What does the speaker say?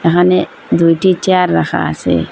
এখানে দুইটি চেয়ার রাখা আসে।